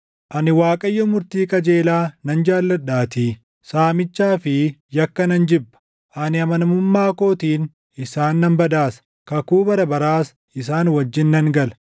“Ani Waaqayyo murtii qajeelaa nan jaalladhaatii; saamichaa fi yakka nan jibba. Ani amanamummaa kootiin isaan nan badhaasa; kakuu bara baraas isaan wajjin nan gala.